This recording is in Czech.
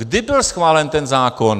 Kdy byl schválen ten zákon?